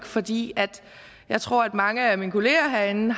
fordi jeg tror at mange af mine kolleger herinde